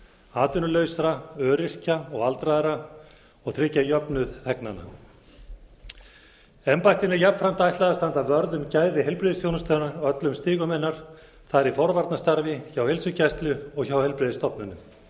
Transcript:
atvinnulausra öryrkja og aldraðra og tryggja jöfnuð þegnanna embættið mun jafnframt ætla að standa vörð um gæði heilbrigðisþjónustunnar á öllum stigum hennar það er í forvarnastarfi hjá heilsugæslu og hjá heilbrigðisstofnunum